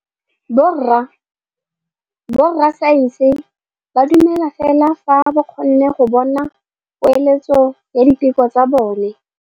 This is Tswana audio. Borra saense ba dumela fela fa ba kgonne go bona poeletsô ya diteko tsa bone.